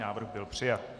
Návrh byl přijat.